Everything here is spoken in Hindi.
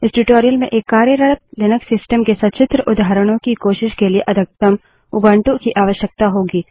इस ट्यूटोरियल में एक कार्यरत लिनक्स सिस्टम के सचित्र उदाहरणों की कोशिश के लिए अधिकतम उबंटु की आवश्यकता होगी